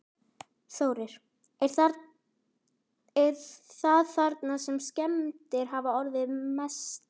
Þórir: Er það þarna sem að skemmdir hafa orðið mestar?